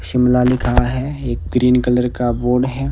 शिमला लिखा है एक ग्रीन कलर का बोर्ड है।